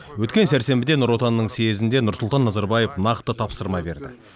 өткен сәрсенбіде нұр отанның съезінде нұрсұлтан назарбаев нақты тапсырма берді